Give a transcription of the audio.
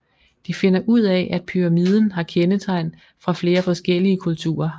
De finder ud af at pyramiden har kendetegn fra flere forskellige kulturer